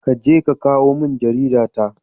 Ka je ka kawo jarida ta.